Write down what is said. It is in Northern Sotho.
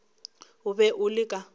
o be o le ka